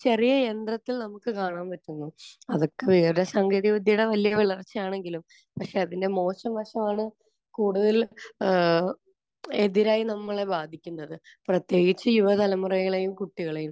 ചെറിയ യന്ത്രത്തിൽ നമുക്ക് കാണാൻ പറ്റുന്നു. അതൊക്കെ വിവരസാങ്കേതികവിദ്യയുടെ വലിയ വളർച്ചയാണെങ്കിലും പക്ഷെ അതിന്റെ മോശം വശമാണ് കൂടുതൽ ഏഹ് എതിരായി നമ്മളെ ബാധിക്കുന്നത്. പ്രത്യേകിച്ച് യുവതലമുറകളെയും കുട്ടികളെയും.